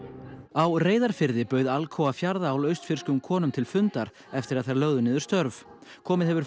á Reyðarfirði bauð Alcoa Fjarðaál austfirskum konum til fundar eftir að þær lögðu niður störf komið hefur